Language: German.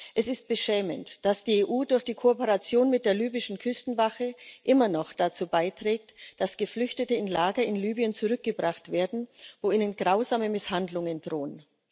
Es ist beschämend, dass die EU durch die Kooperation mit der libyschen Küstenwache immer noch dazu beiträgt, dass Geflüchtete in Lager in Libyen zurückgebracht werden, wo ihnen grausame Misshandlungen drohen.